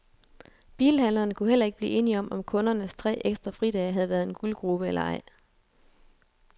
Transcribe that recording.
Bilhandlerne kunne heller ikke blive enige om, om kundernes tre ekstra fridage havde været en guldgrube eller ej.